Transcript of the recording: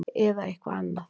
Eða eitthvað annað?